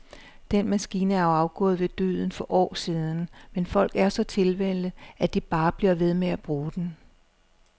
Den maskine er jo afgået ved døden for år siden, men folk er så tilvænnet, at de bare bliver ved med at bruge den.